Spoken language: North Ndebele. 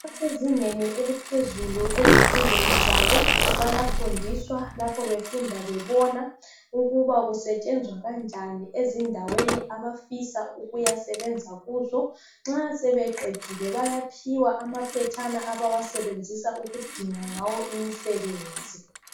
abasezingeni eliphezulu ezifundweni zabo bayafundiswa lapho befunda bebona ukuba kusetshenzwa kanjani endaweni abafisa ukuyasebenza kuzo nxa sebeqedile bayaphiwa amaphetshana abawasebenzisa ukudinga ngawo umsebenzi